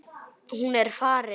Hún er farin.